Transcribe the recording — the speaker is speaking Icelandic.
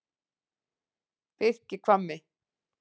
Birkihvammi